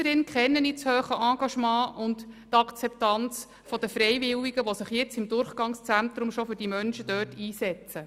Als Lysserin kenne ich das hohe Engagement und die Akzeptanz der Freiwilligen, die sich bereits jetzt im Durchgangszentrum für die Menschen dort einsetzen.